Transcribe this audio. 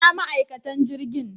Ina ma'aikatan jirgin?